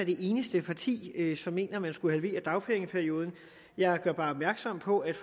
det eneste parti som mener at man skulle halvere dagpengeperioden jeg gør bare opmærksom på at